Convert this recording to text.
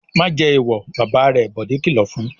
"Má jẹ èèwọ̀!" Bàbá rẹ̀ Bọ̀dé kìlọ̀ fún un.